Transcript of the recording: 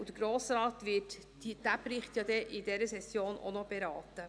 Diesen Bericht wird der Grosse Rat in dieser Session ja auch noch beraten.